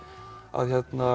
að